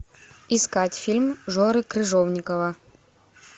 искать фильм жоры крыжовникова